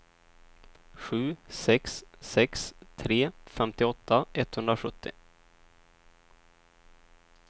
sju sex sex tre femtioåtta etthundrasjuttio